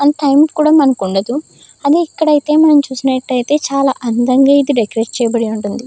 Time కూడా మనకు ఉండదు అదే ఇక్కడ అయితే మనం చూసినట్టయితే చాలా అందంగా ఇది డెకరేట్ చేయబడి ఉంటుంది.